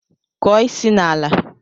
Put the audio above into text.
Kụọ isi n'ala!